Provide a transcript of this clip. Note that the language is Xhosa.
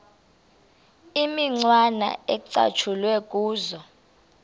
imicwana ecatshulwe kuzo